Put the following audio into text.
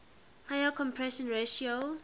higher compression ratio